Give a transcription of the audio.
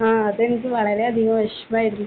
ആ. അതെനിക്ക് വളരെയധികം വിഷമമായിരുന്നു.